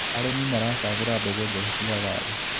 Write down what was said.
Arĩmi maracagũra mbegũ njega cia waru.